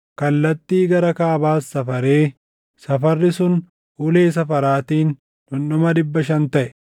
Kallattii gara kaabaas safaree safarri sun ulee safaraatiin dhundhuma dhibba shan taʼe.